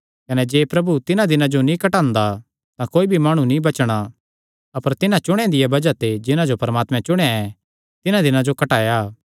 कने जे प्रभु तिन्हां दिनां जो नीं घटांदा तां कोई भी माणु नीं बचणा अपर तिन्हां चुणेयां दिया बज़ाह ते जिन्हां जो परमात्मे चुणेया ऐ तिन्हां दिनां जो घटाया